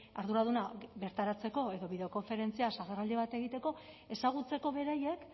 arduraduna bertaratzeko edo bideokonferentziaz agerraldi bat egiteko ezagutzeko beraiek